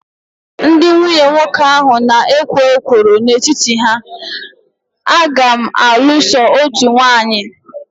Ndị nwunye nwoke ahụ na ekwo ekworo n'etiti ha, a ga m alụ so otú nwanyi